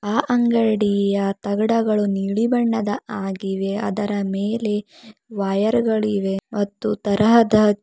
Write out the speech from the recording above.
ಆ ಅಂಗಡಿಯ ತಗಡಗಳು ನೀಲಿ ಬಣ್ಣದ್ದಾಗಿವೆ ಅದರ ಮೇಲೆ ವೈರ್ ಗಳು ಇವೆ ಮತ್ತು ತರಹದ--